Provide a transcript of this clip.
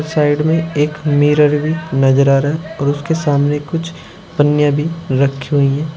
Side में एक mirror भी नजर आ रहा है और उसके सामने कुछ पन्नियां भी रखी हुई हैं।